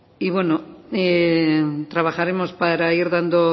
y bueno trabajaremos para ir dando